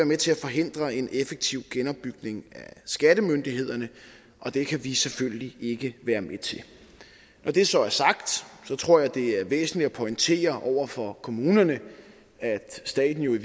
med til at forhindre en effektiv genopbygning af skattemyndighederne og det kan vi selvfølgelig ikke være med til når det så er sagt tror jeg det er væsentligt at pointere over for kommunerne at staten jo i